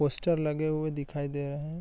Poster लगे हुए दिखाई दे रहें हैं ।